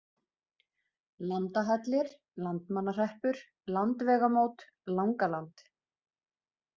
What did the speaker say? Landahellir, Landmannahreppur, Landvegamót, Langaland